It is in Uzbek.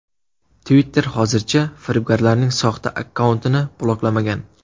Twitter hozircha firibgarlarning soxta akkauntini bloklamagan.